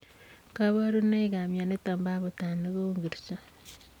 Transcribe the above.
Kabarunoik ap mionitok poo abutanik kouu ngirchoo?